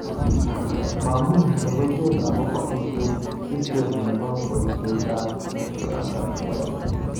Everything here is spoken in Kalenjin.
Mami logoiywek akobo histori nebo boisietab J Alexander Kueng